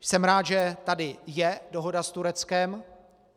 Jsem rád, že tady je dohoda s Tureckem.